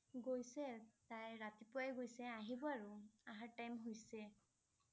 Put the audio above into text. গৈছে, তাই ৰাতিপুৱাই গৈছে আহিব আৰু অহাৰ time হৈছে।